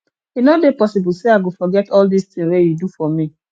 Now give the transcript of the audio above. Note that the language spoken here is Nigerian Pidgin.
e no dey possible sey i go forget all dis tin wey you do for me